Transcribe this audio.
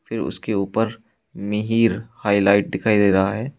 उसके ऊपर मिहिर हाईलाइट दिखाई दे रहा है।